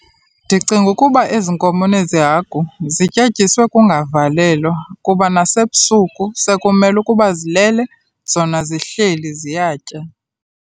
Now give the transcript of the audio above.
Ndicinga ukuba ezi nkomo nezi hagu zityetyiswe kungavalelwa, kuba nasebusuku sekumele ukuba zilele zona zihleli ziyatya.